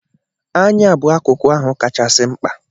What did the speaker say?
Anya bụ akụkụ ahụ kachasị mkpa.